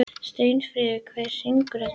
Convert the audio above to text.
Steinfríður, hver syngur þetta lag?